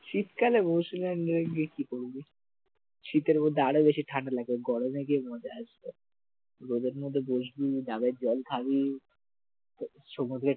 শীতকালে গিয়ে কি করবি? শীতের মধ্যে আরো বেশি ঠান্ডা লাগবে, গরমে গিয়ে মজা আসবে রোদের মধ্যে বসবি ডাবের জল খাবি তো সমুদ্রের